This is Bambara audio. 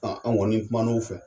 A an kɔni kuman'u fɛ